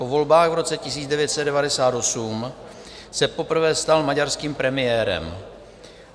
Po volbách v roce 1998 se poprvé stal maďarským premiérem.